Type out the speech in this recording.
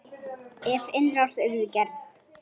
Ef innrás yrði gerð?